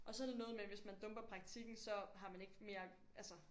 Og så det noget med hvis man dumper praktikken så har man ikke mere altså